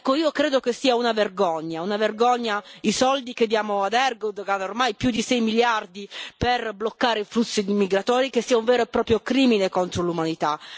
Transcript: Ecco, io credo che sia una vergogna, una vergogna, i soldi che diamo a Erdoğan, ormai più di 6 miliardi per bloccare i flussi migratori, che sia un vero e proprio crimine contro l'umanità.